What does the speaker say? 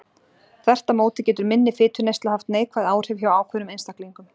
þvert á móti getur minni fituneysla haft neikvæð áhrif hjá ákveðnum einstaklingum